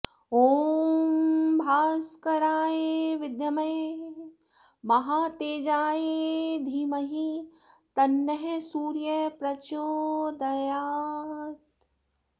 ॐ भास्कराय विद्महे महातेजाय धीमहि तन्नः सूर्यः प्रचोदयात्